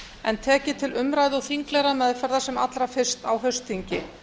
en tekið til umræðu og þinglegrar meðferðar sem allra fyrst á haustþingi